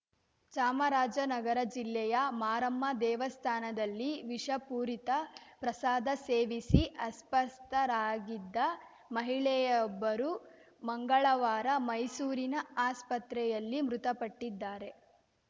ಚಾಮರಾಜನಗರ ಜಿಲ್ಲೆಯ ಮಾರಮ್ಮ ದೇವಸ್ಥಾನದಲ್ಲಿ ವಿಷಪೂರಿತ ಪ್ರಸಾದ ಸೇವಿಸಿ ಅಸ್ವಸ್ಥರಾಗಿದ್ದ ಮಹಿಳೆಯೊಬ್ಬರು ಮಂಗಳವಾರ ಮೈಸೂರಿನ ಆಸ್ಪತ್ರೆಯಲ್ಲಿ ಮೃತಪಟ್ಟಿದ್ದಾರೆ